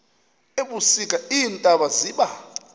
ebusika iintaba ziba